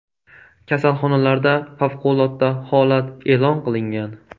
Kasalxonalarda favqulodda holat e’lon qilingan.